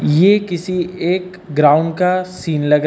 ये किसी एक ग्राउंड का सीन लग रहा--